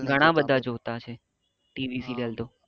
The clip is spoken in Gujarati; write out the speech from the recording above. ઘણા બધા જોતા હશે ટીવી સિરિયલ તો